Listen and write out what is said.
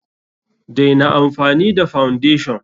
Daina amfani da foundation!